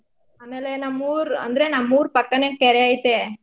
ಆಮೇಲೆ ನಮ್ಮ್ ಊರ್ ಅಂದ್ರೆ ನಮ್ಮ್ ಊರ್ ಪಕ್ಕಾನೇ ಕೆರೆ ಐತೆ.